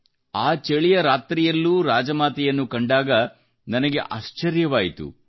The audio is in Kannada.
ಆ ಚಳಿಯ ರಾತ್ರಿಯಲ್ಲೂ ರಾಜಮಾತೆಯನ್ನು ಕಂಡಾಗ ಆ ನನಗೆ ಸಖೇದಾಶ್ಚರ್ಯವಾಯಿತು